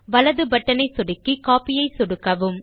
வலது பட்டனை சொடுக்கி கோப்பி ஐ சொடுக்கவும்